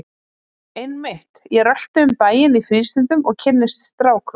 Einmitt, ég rölti um bæinn í frístundum og kynnist strákum!